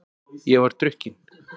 Ég var drukkin.